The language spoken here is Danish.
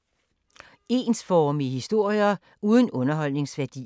Ensformige historier uden underholdningsværdi